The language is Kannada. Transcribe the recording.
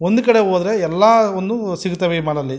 ಒಂದ್ ಕಡೆ ಹೋದ್ರೆ ಎಲ್ಲವನ್ನೂ ಸಿಗುತ್ತವೆ ಈ ಮಾಲ್ ಅಲ್ಲಿ.